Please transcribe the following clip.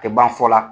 Tɛ ban fɔ la